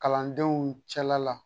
Kalandenw cɛla la